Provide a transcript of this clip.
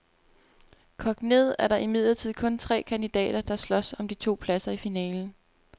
Kogt ned er der imidlertid kun tre kandidater, der slås om de to pladser i finalen.